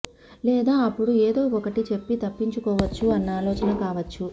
లేదా అప్పుడు ఏదో ఒకటి చెప్పి తప్పించుకోవచ్చు అన్న ఆలోచన కావచ్చు